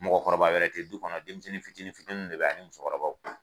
Mɔgɔkɔrɔba wɛrɛ te du kɔnɔ denmisɛnnin fitinin fitininw de bɛ ye ani musokɔrɔbaw